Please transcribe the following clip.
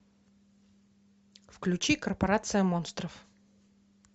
включи корпорация монстров